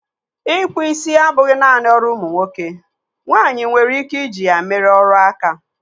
Ị kpụ isi abụghị naanị ọrụ ụmụ nwoke, nwaanyị nwere ike i ji ya mere ọrụ áká.